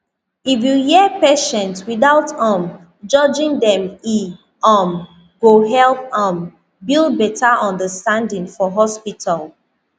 if you hear patient without um judging dem e um go help um build better understanding for hospital